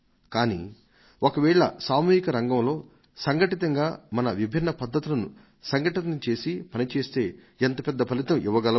కానీ ఒకవేళ సామూహిక రంగంలో సంఘటితంగా మన విభిన్న పద్ధతులను సంఘటితం చేసి పనిచేస్తే ఎంత పెద్ద ఫలితం చూడగలమో